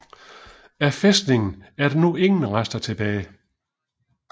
Af fæstningen er der nu ingen rester tilbage